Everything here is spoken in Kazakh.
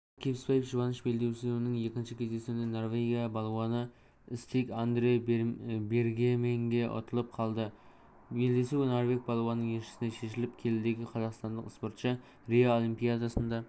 алмат кебісбаевжұбаныш белдесуінің екінші кездесуінде норвегия балуаныстиг андре бергеменгеұтылып қалды белдесу норвег балуанының еншісіне шешіліп келідегі қазақстандық спортшы рио олимпиадасында